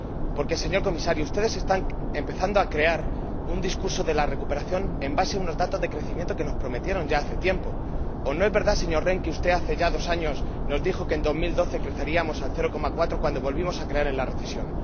Porque, señor Comisario, ustedes están empezando a crear un discurso de la recuperación sobre la base de unos datos de crecimiento que nos prometieron ya hace tiempo. ¿O no es verdad, señor Rehn, que usted, hace ya dos años, nos dijo que, en 2012, creceríamos al 0,4 cuando volvimos a caer en la recesión?